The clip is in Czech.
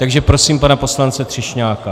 Takže prosím pana poslance Třešňáka.